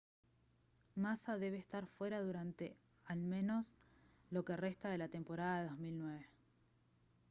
massa debe estar fuera durante al menos lo que resta de la temporada 2009